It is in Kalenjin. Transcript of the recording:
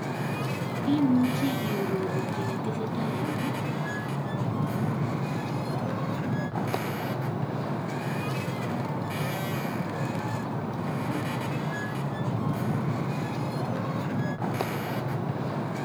Imuchi i aroru ki netesetai en yu